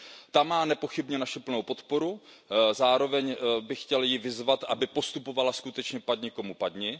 Ta má nepochybně naši plnou podporu, zároveň bych ji chtěl vyzvat, aby postupovala skutečně padni komu padni.